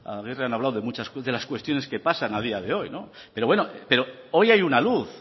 aguirre han hablado de las cuestiones que pasan a día de hoy pero hoy hay una luz